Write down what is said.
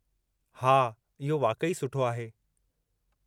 हा, इहो वाक़ई सुठो आहे।